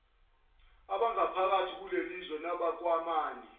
abangaphakathi kulelizwe nabakwamanye